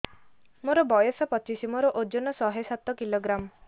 ମୋର ବୟସ ପଚିଶି ମୋର ଓଜନ ଶହେ ସାତ କିଲୋଗ୍ରାମ